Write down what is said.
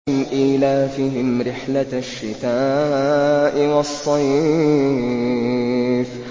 إِيلَافِهِمْ رِحْلَةَ الشِّتَاءِ وَالصَّيْفِ